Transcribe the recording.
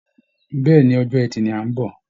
Bẹ́ẹ̀ ni, ọjọ́ ẹtì ni à ń bọ̀